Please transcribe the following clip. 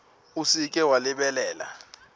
o se ke wa lebala